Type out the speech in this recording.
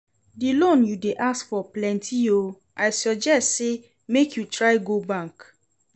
The loan you dey ask for plenty oo, I suggest say make you try go bank